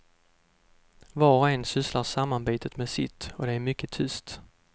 Var och en sysslar sammanbitet med sitt och det är mycket tyst.